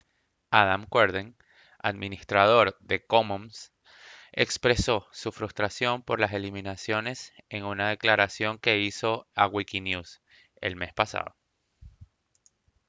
adam cuerden administrador de commons expresó su frustración por las eliminaciones en una declaración que hizo a wikinwes el mes pasado